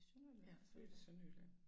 Jeg født i Sønderjylland